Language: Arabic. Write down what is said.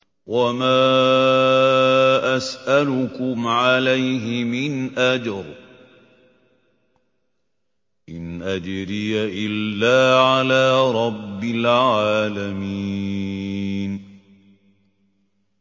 وَمَا أَسْأَلُكُمْ عَلَيْهِ مِنْ أَجْرٍ ۖ إِنْ أَجْرِيَ إِلَّا عَلَىٰ رَبِّ الْعَالَمِينَ